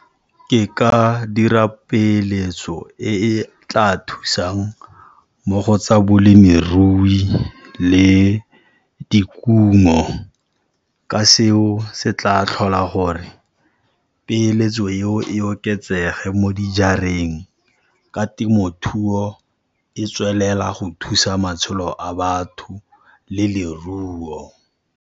Ke ka dira peeletso e e tla thusang mo go tsa bolemirui le dikungo, ka seo se tla tlhola gore peeletso eo e oketsege mo dijareng, ka temothuo e tswelela go thusa matshelo a batho le leruo.